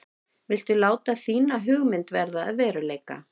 Viltu láta þína hugmynd verða að veruleika?